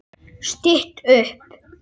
Stytt upp